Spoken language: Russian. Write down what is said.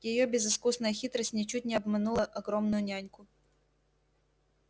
её безыскусная хитрость ничуть не обманула огромную няньку